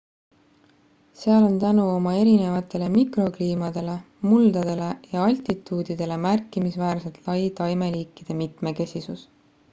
seal on tänu oma erinevatele mikrokliimadele muldadele ja altituudidele märkimisväärselt lai taimeliikide mitmekesisus